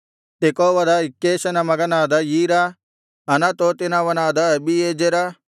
ತೆಕೋವದ ಇಕ್ಕೇಷನ ಮಗನಾದ ಈರ ಅನತೋತಿನವನಾದ ಅಬೀಯೆಜೆರ